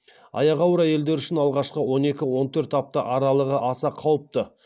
аяғы ауыр әйелдер үшін алғашы он екі он төрт апта аралығы аса қауіпті